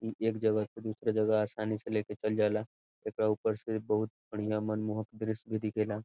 ई एक जगह से दूसरे जगह आसानी लेके चल जाला एकरा ऊपर से बहुत बढियाँ मनमोहक दृश्य भी दीखेला।